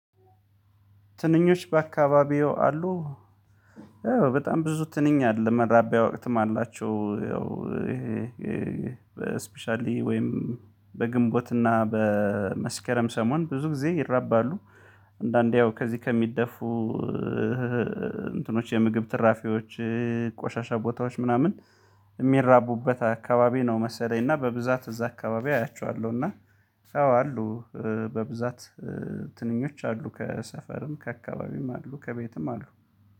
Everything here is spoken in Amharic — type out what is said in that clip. ትንኞች በአካባቢዎ አሉ። ያው በጣም ብዙ ትንኛል መራቢያ ወቅትም አላቸው። ያው ስፔሻሊ ወይም በግንቦትና በመስከረም ሰሞን ብዙ ጊዜ ይራባሉ። አንዳንዴ ያው ከዚህ ከሚደፉ እንትኖች የምግብ ትራፊዎች። ቆሻሻ ቦታዎች ምናምን የሚራቡበት አካባቢ ነው መሰለኝ እና በብዛት እዛ አካባቢ አያችኋለሁ። እና አዎ አሉ። በብዛት ትንኞች አሉ ከሰፈርም ከአካባቢም አሉ ከቤትም አሉ